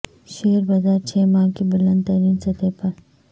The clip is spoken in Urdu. شیئر بازار چھ ماہ کی بلند ترین سطح پر